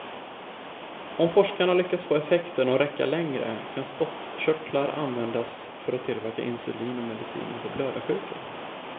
Om forskarna lyckas få effekten att räcka längre kan spottkörtlar användas för att tillverka insulin och mediciner för blödarsjuka.